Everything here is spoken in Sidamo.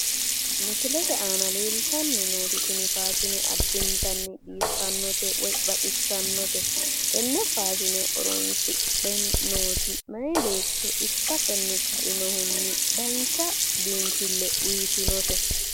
misilete aana leeltanni nooti tini faashine biiffannote woyi baxissannote tenne faashine horonsidhe nooti meya beetto ikkasenni kainohunni dancha biinfille uyiitinose.